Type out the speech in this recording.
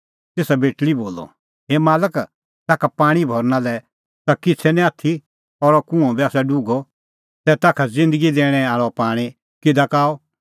तेसा बेटल़ी बोलअ हे मालक ताखा पाणीं भरना लै ता किछ़ै निं आथी और कुंअ आसा डुघअ तै ताखा ज़िन्दगी दैणैं आल़अ पाणीं किधा का आअ